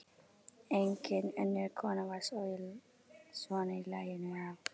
Engin önnur kona var svona í laginu á